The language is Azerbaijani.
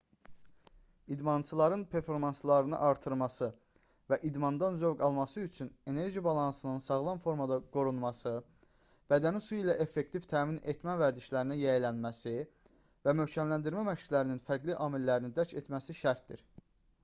i̇dmançıların performanslarını artırması və idmandan zövq alması üçün enerji balansının sağlam formada qorunması bədəni su ilə effektiv təmin etmə vərdişlərinə yiyələnməsi və möhkəmləndirmə məşqlərinin fərqli amillərini dərk etməsi şərtdir